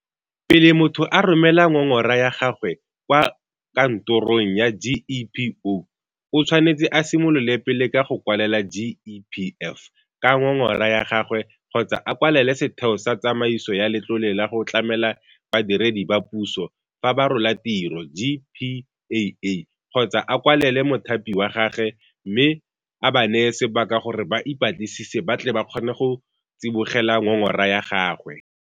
Pele motho a romela ngongora ya gagwe kwa kanto rong ya GEPO, o tshwanetse a simolole pele ka go kwalela GEPF ka ngongora yagagwe kgotsa a kwalele Setheo sa Tsamaiso ya Letlole la go Tlamela Badiredi ba Puso fa ba Rola Tiro GPAA. Kgotsa a kwalele mothapi wa gagwe mme a ba neye sebaka gore ba ipatlisise ba tle ba kgone go tsibogela ngongora ya gagwe.